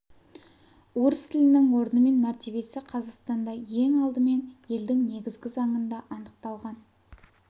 орыс тілінің орны мен мәртебесі қазақстанда ең алдымен елдің негізгі заңында анықталған